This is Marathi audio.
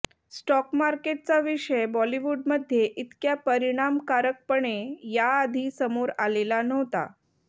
स्टॉक मार्केटचा विषय बॉलिवूडमध्ये इतक्या परिणामकारकपणे याआधी समोर आलेला नव्हता